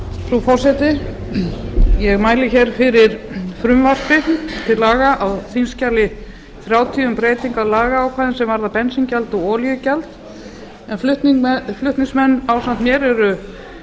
frú forseti ég mæli hér fyrir frumvarpi til laga á þingskjali þrjátíu um breytingu á lagaákvæðum sem varða bensíngjald og olíugjald flutningsmenn ásamt mér eru